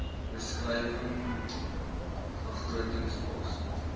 beskrywing begrotings pos